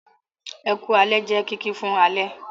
"Ẹku alẹ́" jẹ kìki fún alẹ́.